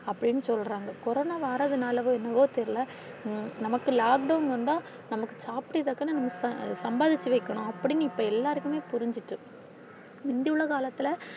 அப்பிடினு சொல்றாங்க கொரோனா வாரதுனால என்னவோ தெரில, நமக்கு lockdown வந்தா நமக்கு சாப்டறதுக்கா சம்பாதிச்சு வைக்கணும் அப்பிடினு இப்ப எல்லாருக்குமே புரிஞ்சிட்டு இன்றி உள்ள காலத்துல.